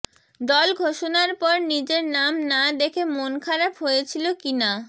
দল ঘোষণার পর নিজের নাম না দেখে মন খারাপ হয়েছিল কিনা